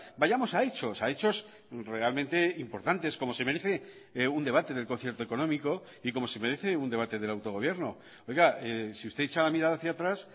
vayamos a hechos a hechos realmente importantes como se merece un debate del concierto económico y como se merece un debate del autogobierno oiga si usted echa la mirada hacia atrás